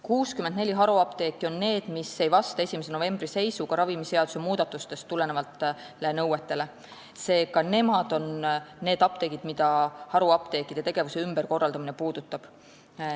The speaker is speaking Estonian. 64 haruapteeki ei vasta 1. novembri seisuga ravimiseaduse muudatustest tulenevatele nõuetele, seega neid haruapteekide tegevuse ümberkorraldamine puudutab.